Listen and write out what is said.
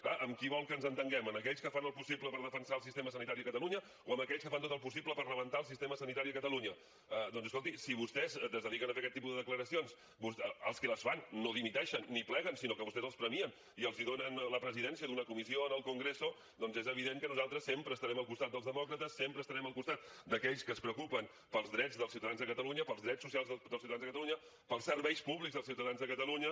clar amb qui vol que ens entenguem amb aquells que fan el possible per defensar el sistema sanitari a catalunya o amb aquells que fan tot el possible per rebentar el sistema sanitari a catalunya doncs escolti si vostès es dediquen a fer aquest tipus de declaracions els qui les fan no dimiteixen ni pleguen sinó que vostès els premien i els donen la presidència d’una comissió en el congreso és evident que nosaltres sempre estarem al costat dels demòcrates sempre estarem al costat d’aquells que es preocupen pels drets dels ciutadans de catalunya pels drets socials dels ciutadans de catalunya pels serveis públics dels ciutadans de catalunya